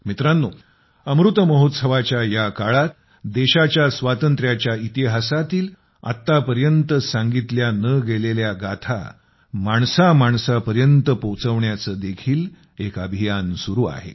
मित्रानो अमृत महोत्सवाच्या ह्या काळात देशाच्या स्वातंत्र्याच्या इतिहासातील आत्तापर्यंत सांगितल्या न गेलेल्या गाथा माणसा माणसा पर्यंत पोचविण्याचे देखील एक अभियान सुरू आहे